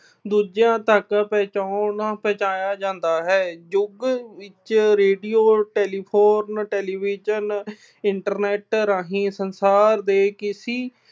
ਦੂਜਿਆਂ ਤੱਕ ਪਹੁੰਚਾਉਣ ਅਹ ਪਹੁੰਚਾਇਆ ਜਾਂਦਾ ਹੈ। ਯੁੱਗ ਵਿੱਚ ਰੇਡੀਓ, telephone, television, internet ਰਾਹੀਂ ਸੰਸਾਰ ਦੇ ਕਿਸੇ